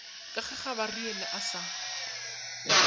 ke ge gabariele a sa